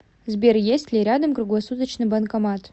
сбер есть ли рядом круглосуточный банкомат